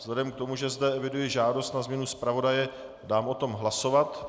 Vzhledem k tomu, že zde eviduji žádost na změnu zpravodaje, dám o tom hlasovat.